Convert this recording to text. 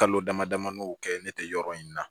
Kalo dama damani kɛ ne tɛ yɔrɔ in na